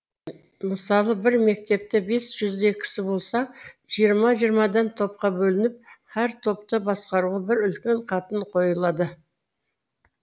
мысалы бір мектепте бес жүздей кісі болса жиырма жиырмадан топқа бөлініп һәр топты басқаруға бір үлкен қатын қойылады